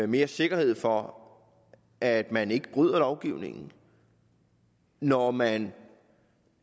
mere sikkerhed for at man ikke bryder lovgivningen når man